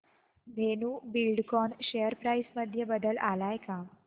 Dhenu Buildcon share price मध्ये बदल आलाय का